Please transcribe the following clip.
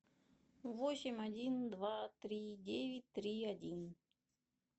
восемь один два три девять три один